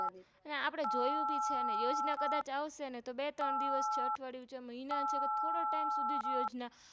આપણે જોયું ભી છે ને યોજના ક્દાચ આવ્સેને તો બે ત્રણ દિવસ અઠવાડિયુંછે મહિના છે કે થોડો Time સુધીજ યોજના